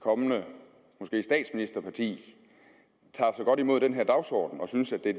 kommende statsministerparti tager så godt imod den her dagsorden og synes at det er